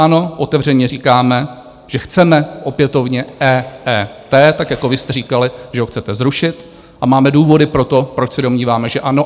Ano, otevřeně říkáme, že chceme opětovně EET, tak jako vy jste říkali, že ho chcete zrušit, a máme důvody pro to, proč se domníváme, že ano.